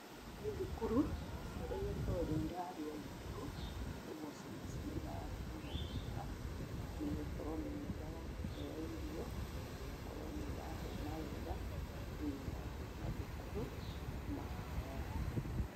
Nĩ thukuru, na ciana igakorwo nĩ irarĩa thukuru, kwoguo ciana ici nĩ irarorwo wega, nĩ gũkorwo nĩ iraheo irio na igakorwo nĩ irahũna wega, thiĩnĩ wa mathukuru mao.